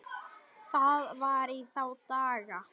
Það var í þá daga!